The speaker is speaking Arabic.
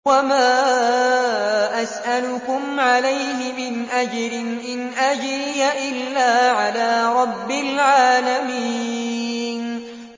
وَمَا أَسْأَلُكُمْ عَلَيْهِ مِنْ أَجْرٍ ۖ إِنْ أَجْرِيَ إِلَّا عَلَىٰ رَبِّ الْعَالَمِينَ